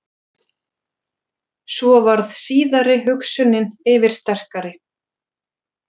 Svo varð síðari hugsunin yfirsterkari.